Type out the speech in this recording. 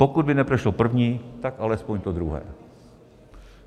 Pokud by neprošlo první, tak alespoň to druhé.